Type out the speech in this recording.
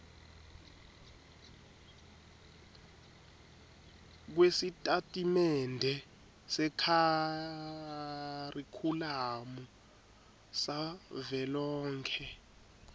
kwesitatimende sekharikhulamu savelonkhe